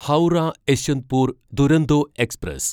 Howrah Yesvantpur Duronto express